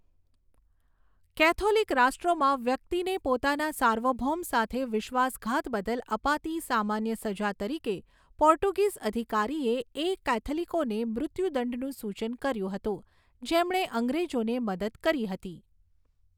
Catholic રાષ્ટ્રોમાં વ્યક્તિને પોતાના સાર્વભૌમ સાથે વિશ્વાસઘાત બદલ અપાતી સામાન્ય સજા તરીકે પોર્ટુગીઝ અધિકારીએ એ કૅથલિકોને મૃત્યુદંડનું સૂચન કર્યું હતું જેમણે અંગ્રેજોને મદદ કરી હતી.